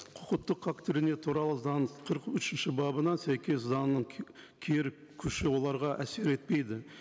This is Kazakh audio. құқықтық туралы заң қырық үшінші бабына сәйкес заңның кері күші оларға әсер етпейді